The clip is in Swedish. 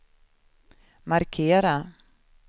markera